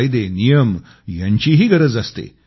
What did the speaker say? कायदे नियम यांचीही गरज असते